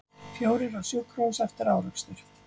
Fjórir á sjúkrahús eftir árekstur